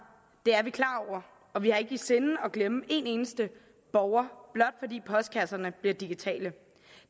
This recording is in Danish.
det er vi klar over og vi har ikke i sinde at glemme en eneste borger blot fordi postkasserne bliver digitale